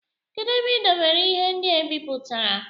Kedu ebe ị debere ihe ndị e bipụtara?